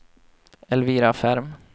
Elvira Ferm